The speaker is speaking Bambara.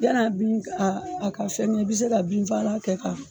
Yani a bin a ka fɛrɛ i bɛ se ka binfaalan kɛ k'a fiɲɛ.